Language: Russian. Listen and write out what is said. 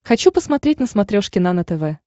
хочу посмотреть на смотрешке нано тв